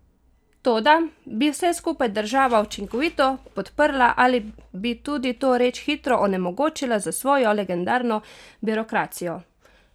Toda, bi vse skupaj država učinkovito podprla ali bi tudi to reč hitro onemogočila s svojo legendarno birokracijo?